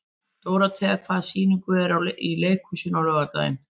Dórothea, hvaða sýningar eru í leikhúsinu á laugardaginn?